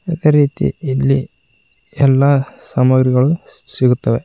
ಅದೇ ರೀತಿ ಇಲ್ಲಿ ಎಲ್ಲಾ ಸಾಮಗ್ರಿಗಳು ಸಿಗುತ್ತವೆ.